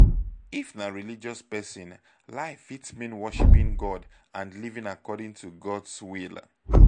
if na religious person life fit mean worshiping god and living according to god's will